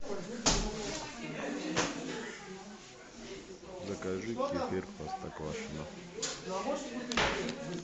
закажи кефир простоквашино